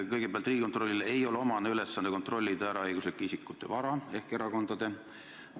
Kõigepealt: Riigikontrollile ei ole omane ülesanne kontrollida eraõiguslike isikute ehk siis ka erakondade vara.